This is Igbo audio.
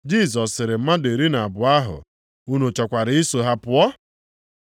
Jisọs sịrị mmadụ iri na abụọ ahụ, “Unu chọkwara iso ha pụọ?”